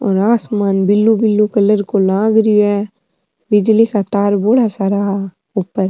और आसमान blue blue colour को लाग रो है बिजली का तार बोला सारा ऊपर --